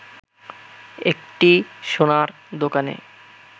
একটি সোনার দোকানে